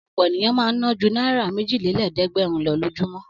Ọ̀pọ̀ ènìyàn máa ń ná ju náírà méjìlélẹ́ẹ̀dẹ́gbẹ̀rún lọ lójúmọ́.